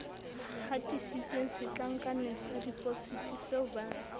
hatisitsweng setlankaneng sa depositiseo ba